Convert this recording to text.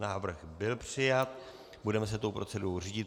Návrh byl přijat, budeme se tou procedurou řídit.